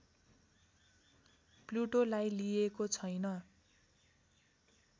प्लुटोलाई लिइएको छैन